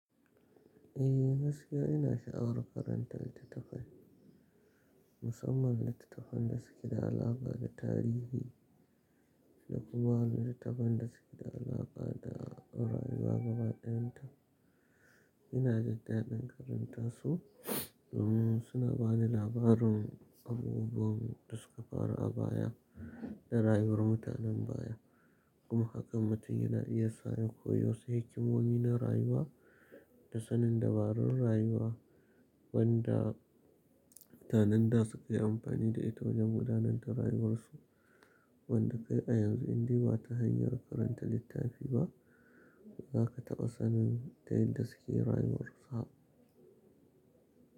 E, gaskiya ina sha'awar karanta littattafai musamman littattafan da suke da alaƙa da tarihi da kuma waɗanda suke da alaƙa da rayuwar gaba ɗayan ta. Ina jindaɗin karanta su domin suna bani labarin abubuwan da suka faru a baya da rayuwar mutanen baya. Kuma hakan mutun yana iya sa in koyi wasu hikimomi na rayuwa da sanin dabarun rayuwa wanda mutanen da suka yi amfani da ita wajen gudanar da rayuwarsu wanda kai a yanzu in dai ba ta hanyar karanta littafi ba, ba za ka taɓa sanin ta yadda suke rayuwarsu ba.